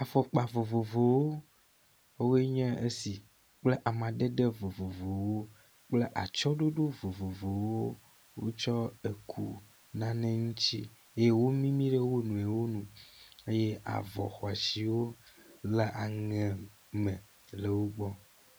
Fɔkpa vovovowo wɔwoe nye esi kple amadede vovovowo kple atsɔɖoɖo vovovowo wotsɔ eku nane ŋuti ye wo mimi ɖe wo nɔewo ŋu ye avɔ xɔ asiwo le aŋe me le wo gbɔ.